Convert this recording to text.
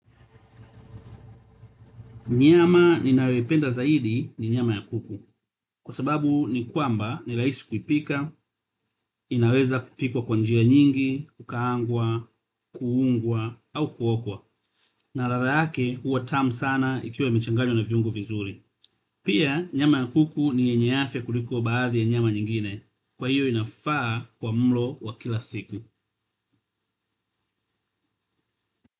Nyama ninayoipenda zaidi ni nyama ya kuku. Kwa sababu ni kwamba ni raisi kuipika, inaweza kupikwa kwa njia nyingi, kukaangwa, kuungwa, au kuokwa. Na radha yake huwa tamu sana ikiwa imechanganywa na viongo vizuri. Pia nyama ya kuku ni yenye afya kuliko baadhi ya nyama nyingine. Kwa hiyo inafaa kwa mlo wa kila siku.